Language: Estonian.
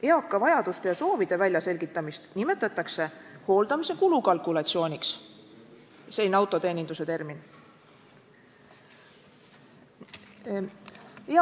Eaka inimese vajaduste ja soovide väljaselgitamist nimetatakse "hooldamise kulukalkulatsiooniks" – selline autoteeninduse termin!